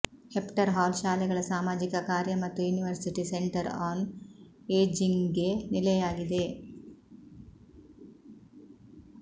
Hefner Hall ಶಾಲೆಗಳ ಸಾಮಾಜಿಕ ಕಾರ್ಯ ಮತ್ತು ಯುನಿವರ್ಸಿಟಿ ಸೆಂಟರ್ ಆನ್ ಏಜಿಂಗ್ಗೆ ನೆಲೆಯಾಗಿದೆ